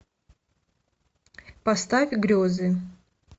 поставь грезы